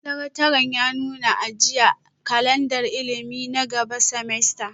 Sakataren ya nuna a jiya, mu kalandar ilimi na gaba semester,